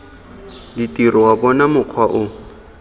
ditiro wa bona mokgwa o